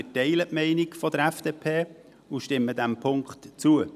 Wir teilen die Meinung der FDP und stimmen diesem Punkt zu.